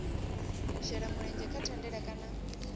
shela mulenzhe kha thandela kana